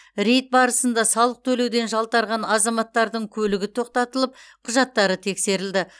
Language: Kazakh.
рейд барысында салық төлеуден жалтарған азаматтардың көлігі тоқтатылып құжаттары тексерілді